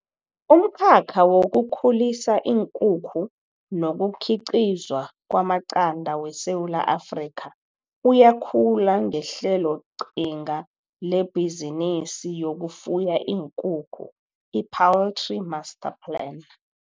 Umkhakha wokukhulisa iinkukhu nokukhiqizwa kwamaqanda weSewula Afrika uyakhula ngeHleloqhinga leBhizinisi yokuFuya iinKukhu, i-Poultry Master Plan.